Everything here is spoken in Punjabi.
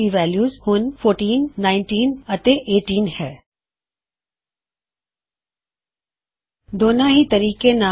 ਚਲੋ ਇਸਤੋਂ ਛੁਟਕਾਰਾ ਪਾ ਲੈਂਦੇ ਹਾਂ ਅਤੇ ਇਸਨੂੰ ਜ਼ੀਰੋਇੱਕ ਅਤੇ ਦੋ ਨਾਲ ਹੀ ਪੁਕਾਰਦੇ ਹਾਂ